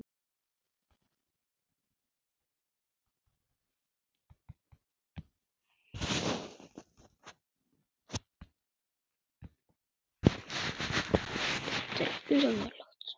Þróun almennt